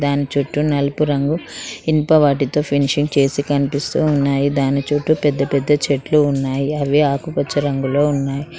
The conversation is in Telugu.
దాని చుట్టూ నలుపు రంగు ఇనుప వాటితో ఫెన్షింగ్ చేసి కనిపిస్తూ ఉన్నాయి దాని చుట్టూ పెద్దపెద్ద చెట్లు ఉన్నాయి అవి ఆకుపచ్చ రంగులో ఉన్నాయి.